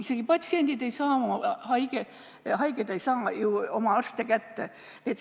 Isegi patsiendid ehk haiged ise ei saa oma arste kätte.